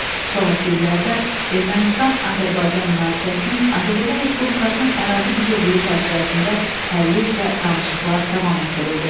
Sonrakı illərdə Ermənistan-Azərbaycan münaqişəsinin Azərbaycan Respublikasının ərazi bütövlüyü çərçivəsində həlli üzrə danışıqlar davam etdirildi.